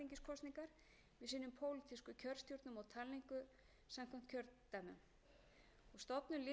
kjörstjórnum og talningu samkvæmt kjördæmum stofnun lýðræðisstofu sem lögð er til í frumvarpinu er mikilvægt skref